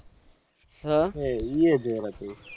એ એઈયે જોર હતું